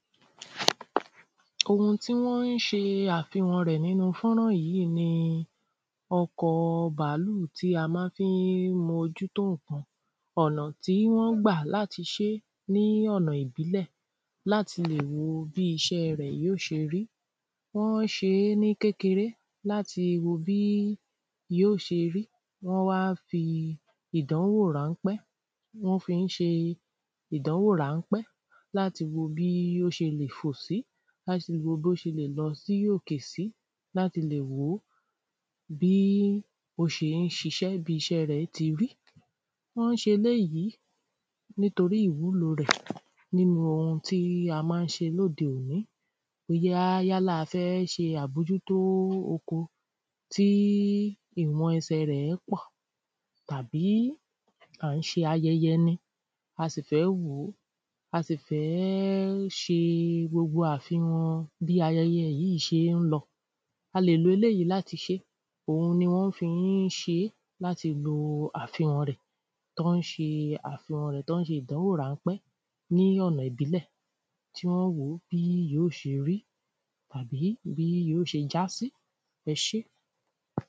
Ohun tí wọ́n n ṣe àfihàn rẹ̀ nínu fọ́nrán yìí ni ọkọ̀ bàálù tí a má fi ń mójú tó ǹkan ọ̀nà tí wọ́n gbà láti ṣe ní ọ̀nà ìbílẹ̀ láti le wo bí iṣẹ́ rẹ̀ yóò ṣẹ rí wọ́n ṣe é ni kékeré láti wo bí yóò ṣe rí wọ́n wá fi ìdánwò ráńpẹ́ wọ́n fi n ṣe ìdánwò ráńpẹ́ láti wò bí ó ṣe lè fò sí láti wò bí o ṣe lè lọ sókè sí, láti lè wò ó, bí ó ṣe ń ṣiṣẹ́, bí iṣẹ́ rẹ̀ ti rí wọn ṣe eléyìí nítorí ìwúlo rẹ̀ nínu ohun ti a maa n ṣe lóde òní yála a fẹ́ ṣe àbójútó oko tí ìwọn ẹsẹ rẹ̀ pọ̀ tàbí à ń ṣe ayẹyẹ ni a sì fẹ́ wòó a sì fẹ́ ṣe gbogbo àfihàn bí ayẹyẹ yìí ṣe ń lọ a lè lo eléyìí láti ṣé, òhun ni wọ́n fi ń ṣe é, lati lo àfihàn rẹ̀ tọ́ ń ṣe àfihàn rẹ̀ tọ́ ń ṣe ìdánwò ráńpẹ́ ní ọ̀nà ìbílẹ̀ tí wọ́n n wo bí yóò ṣe rí tàbí bí yóò ṣe jásí, ẹ ṣé.